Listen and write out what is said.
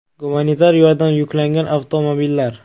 Gumanitar yordam yuklangan avtomobillar.